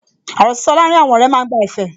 Ọ̀rọ̀ sísọ láàrín àwọn ọ̀rẹ́ máa ń gba ẹ̀fẹ̀